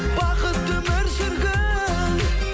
бақытты өмір сүргін